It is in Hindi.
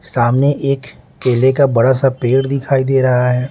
सामने एक केले का बड़ा सा पेड़ दिखाई दे रहा है।